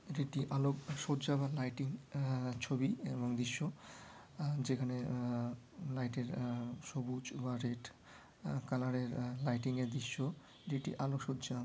এটি একটি আলোক সজ্জা বা লাইটিং আ- ছবি এবং দৃশ্য আ যেখানে আ লাইট -এর আ সবুজ বা রেড কালার -এর লাইটিং -এর দৃশ্য যেটি আলো সজ্জার--